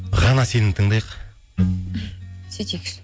ғана сені тыңдайық сөйтейкші